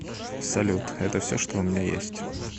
салют это все что у меня есть